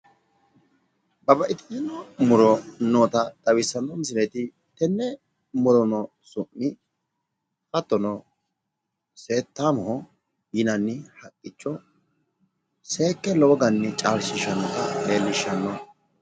Babbaxitino jawa ikkitino muro noota xawissanno misileeti tenne murono su'mi hattono seettaamoho yinanni haqqicho seekke lowo garinni caalshiishannota leellishshanno.